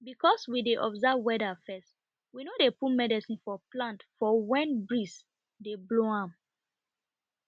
because we dey observe weader first we no dey put medicine for plant for wen breeze dey blow um